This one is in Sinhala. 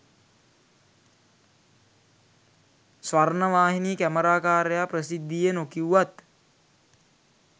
ස්වර්ණවාහිනී කැමරාකාරයා ප්‍රසිද්ධියේ නොකිව්වත්